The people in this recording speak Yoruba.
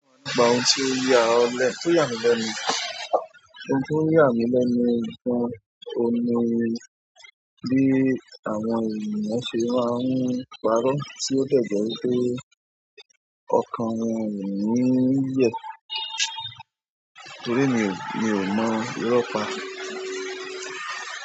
Òun ti o yà mí lẹ́nu ni gan oun ni bí àwọn ènìyàn ṣe máa ń parọ́ tí ó de jẹ́ wipé ọkàn wọn ò ní yẹ́. Torí emi ò mọ̀ írọ́ pa.